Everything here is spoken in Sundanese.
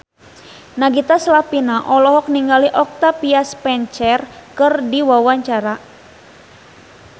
Nagita Slavina olohok ningali Octavia Spencer keur diwawancara